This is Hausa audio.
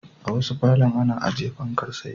A wasu falon ana ajiye fankar tsaye.